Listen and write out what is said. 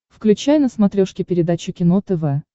включай на смотрешке передачу кино тв